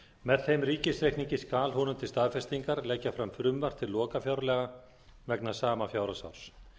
með þeim ríkisreikningi skal honum til staðfestingar leggja fram frumvarp til lokafjárlaga vegna sama fjárhagsárs